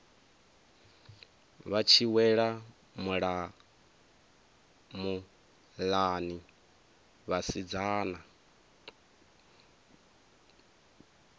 vha tshi wela muḽani vhasidzana